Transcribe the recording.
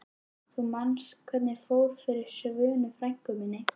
Þú manst hvernig fór fyrir Svönu frænku minni.